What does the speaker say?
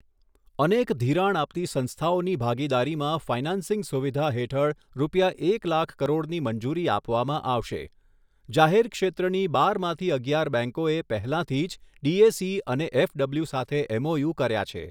અનેક ધિરાણ આપતી સંસ્થાઓની ભાગીદારીમાં ફાઇનાન્સિંગ સુવિધા હેઠળ રૂપિયા એક લાખ કરોડની મંજૂરી આપવામાં આવશે જાહેર ક્ષેત્રની બારમાંથી અગિયાર બેંકોએ પહેલાંથી જ ડીએસી અને એફડબલ્યુ સાથે એમઓયુ કર્યા છે.